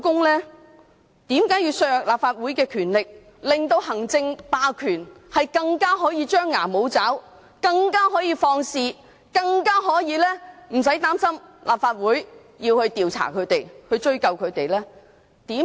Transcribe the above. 為何要削弱立法會的權力，令行政霸權可以更加張牙舞爪、可以更放肆、可以更不用擔心立法會調查、追究他們？